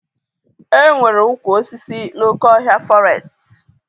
E nwere ụkwụ osisi n'oké ọhịa fọrestị?